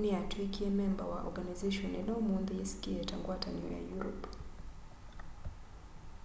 niyatwikie memba wa organization ila umunthi yisikie ta ngwatanio ya europe